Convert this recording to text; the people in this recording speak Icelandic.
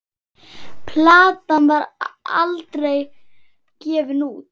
Platan var aldrei gefin út.